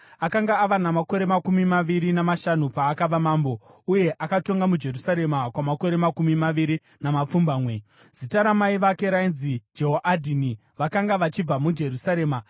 Akanga ava namakore makumi maviri namashanu paakava mambo, uye akatonga muJerusarema kwamakore makumi maviri namapfumbamwe. Zita ramai vake rainzi Jehoadhini vakanga vachibva muJerusarema.